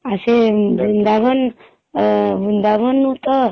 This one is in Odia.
ଆଉ ସେ ବୃନ୍ଦାବନ ବୃନ୍ଦାବନ ତ